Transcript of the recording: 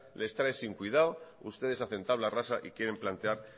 les trae sin cuidado ustedes hacen tabla rasa y quieren plantear